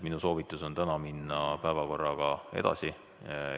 Minu soovitus on täna minna päevakorraga edasi.